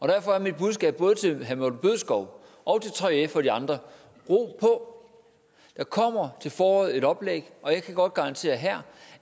derfor er mit budskab både til herre morten bødskov og til 3f og de andre ro på der kommer til foråret et oplæg og jeg kan godt garantere her